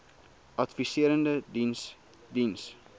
adviserende diens diens